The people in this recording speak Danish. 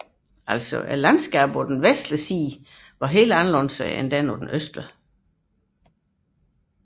Terrænet på den vestlige bred var helt anderledes end på den østlige